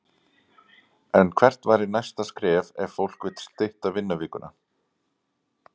En hvert væri næsta skref ef fólk vill stytta vinnuvikuna?